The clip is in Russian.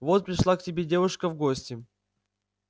вот пришла к тебе девушка в гости